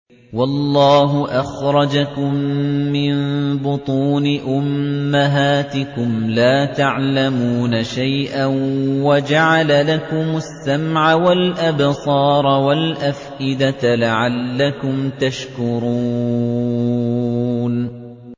وَاللَّهُ أَخْرَجَكُم مِّن بُطُونِ أُمَّهَاتِكُمْ لَا تَعْلَمُونَ شَيْئًا وَجَعَلَ لَكُمُ السَّمْعَ وَالْأَبْصَارَ وَالْأَفْئِدَةَ ۙ لَعَلَّكُمْ تَشْكُرُونَ